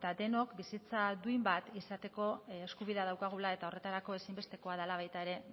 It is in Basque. denok bizitza duin bat izateko eskubidea daukagula eta horretarako ezinbestekoa dela baita ere